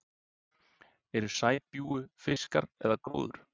Eru sæbjúgu fiskar eða gróður?